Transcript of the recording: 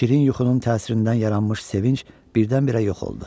Şirin yuxunun təsirindən yaranmış sevinc birdən-birə yox oldu.